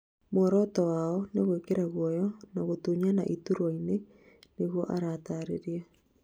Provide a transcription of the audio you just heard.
mũoroto wao nĩ gwĩkira gũoya na gũtũnyana ituraini ' nigũo atarĩria